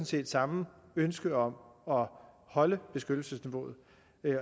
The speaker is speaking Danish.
set samme ønske om at holde beskyttelsesniveauet